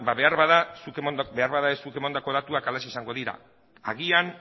ba behar bada zuk emandako datuak halaxe izango dira agian